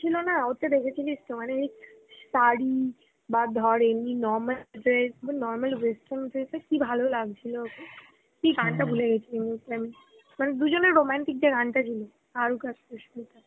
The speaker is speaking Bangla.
ছিল না ওতো দেখেছিলিস তো মানে ওই শাড়ি বা ধর এমনি normal dress বা normal western dress এ কি ভালো লাগছিল. কি গানটা ভুলে গেছি মনে হচ্ছে আমি, কারণ দুজনে romantic দিয়ে গানটা ছিল, শাহরুখ আর সুস্মিতার.